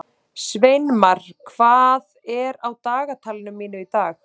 Sveinmar, hvað er á dagatalinu mínu í dag?